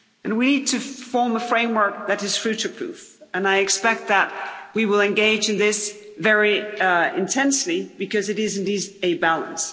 We need to form a framework that is future-proof, and I expect that we will engage in this very intensely because it is indeed a balance.